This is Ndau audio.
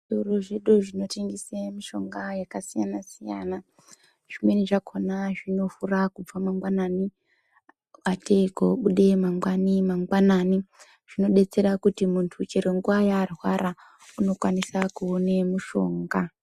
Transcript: Zvitoro zvino zvinotengesa mitombo yakasiyana siyana zvinovhura mangwanani atei kobuda mangwani mangwanani. Zvinodetsera kuti muntu chero nguwa yaarwara unokwanisa kuone mishonga.